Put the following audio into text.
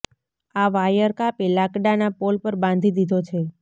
આ વાયર કાપી લાકડાંના પોલ પર બાંધી દીધો છે